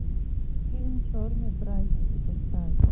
фильм черные праздники поставь